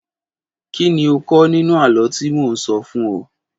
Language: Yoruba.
Kí ni o kọ́ nínú àlọ́ tí mo sọ fún o?